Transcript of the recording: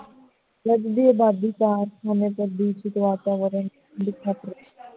ਵੱਧਦੀ ਅਬਾਦੀ ਦੇ ਕਾਰਨ ਅੰਮ੍ਰਿਤਸਰ ਦਾ ਵਾਤਾਵਰਣ